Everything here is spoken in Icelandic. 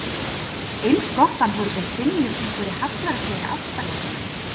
Eins gott að hann fór ekki að stynja upp einhverri hallærislegri ástarjátningu.